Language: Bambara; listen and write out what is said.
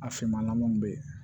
A finmannamaw bɛ yen